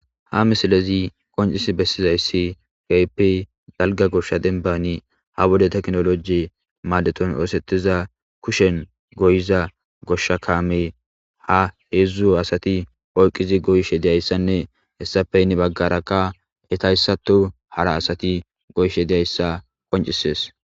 Ha misilezi qoncis bessizayssi keehippe dalga gosha dembbani ha wode teknoloji maadeton oosettiza kushen goyiza goshsha kaame ha heedzdzu asati oyqqizi goyishe diyayssanne hessappe yni baggarakka etayssato hara asati goyshe diyayssa qoncisees.